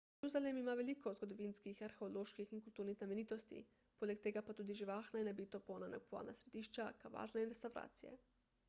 jeruzalem ima veliko zgodovinskih arheoloških in kulturnih znamenitosti poleg tega pa tudi živahna in nabito polna nakupovalna središča kavarne in restavracije